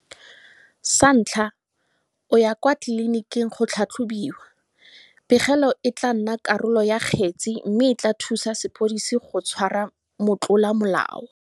Sa ntlha, o ya kwa tliliniking go tlhatlhobiwa. Pegelo e tla nna karolo ya kgetse mme e tla thusa sepodisi go tshwara motlolamolao.